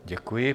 Děkuji.